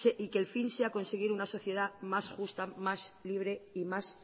y que el fin sea conseguir una sociedad más justa más libre y más